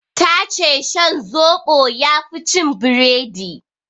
Ta ce shan zoɓo yafi cin biredi